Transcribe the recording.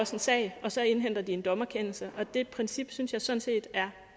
også en sag og så indhenter de en dommerkendelse og det princip synes jeg sådan set er